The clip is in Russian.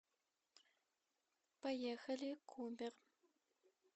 поехали кубер